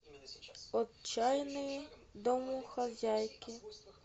отчаянные домохозяйки